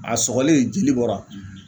A sɔgɔlen jeli bɔra